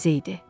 Təzə idi.